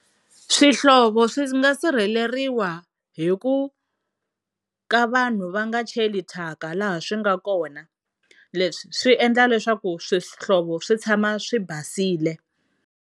Swihlovo swi nga sirheleriwa hi ku ka vanhu va nga cheli thyaka laha swi nga kona leswi swi endla leswaku swihlovo swi tshama swi basile.